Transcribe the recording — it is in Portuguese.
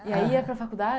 E aí ia para a faculdade?